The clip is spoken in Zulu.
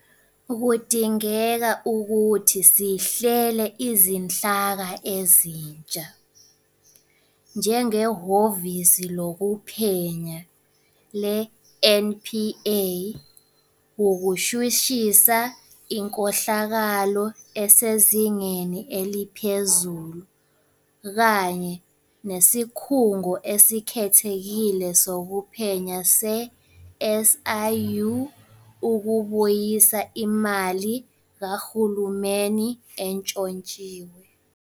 Kudingeke ukuthi sihlele izinhlaka ezintsha, njengeHhovisi Lokuphenya le-NPA ukushushisa inkohlakalo esezingeni eliphezulu kanye neSikhungo Esikhethekile Sokuphenya se-SIU ukubuyisa imali kahulumeni entshontshiwe.